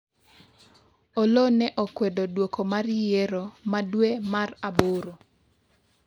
Oloo ne okwedo duoko mar yiero ma dwe mar aboro